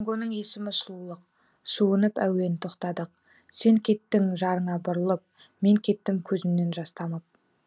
тангоның есімі сұлулық суынып әуен тоқтадық сен кеттің жарыңа бұрылып мен кеттім көзімнен жас тамып